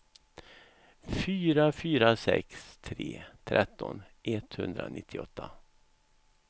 fyra fyra sex tre tretton etthundranittioåtta